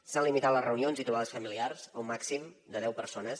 s’han limitat les reunions i trobades familiars a un màxim de deu persones